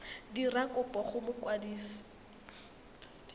dira kopo go mokwadisi wa